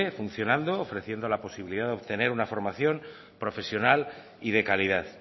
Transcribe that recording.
funcionando ofreciendo la posibilidad de obtener una formación profesional y de calidad